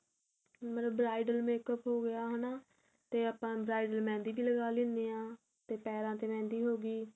ਮਤਲਬ bridle makeup ਹੋ ਗਿਆ ਹਨਾ ਤੇ ਆਪਾਂ bridle mehendi ਵੀ ਲੱਗਾ ਲੇਂਦੇ ਆ ਤੇ ਪੈਰਾ ਚ mehendi ਹੋ ਗਈ